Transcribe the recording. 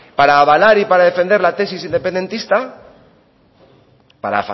para avalar y para defender la tesis independentista para